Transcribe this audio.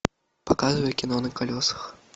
показывай кино на колесах